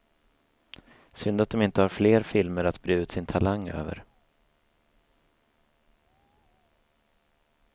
Synd att de inte har fler filmer att bre ut sin talang över.